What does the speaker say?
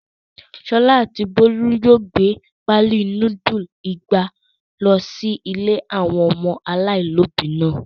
Ṣọlá àti Bólú yóò gbé páálí núdúlù igba lọ sí ilé àwọn ọmọ aláìlóòbí náà.